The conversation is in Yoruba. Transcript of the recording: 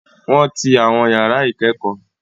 Wọ́n ti àwọn ìyàrá ìkẹ́kọ̀ọ́.